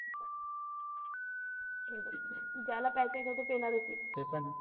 ज्याला प्यायचे तोत पिणारच आहे.